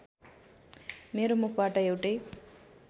मेरो मुखबाट एउटै